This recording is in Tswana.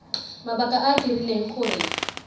mabaka a a dirileng gore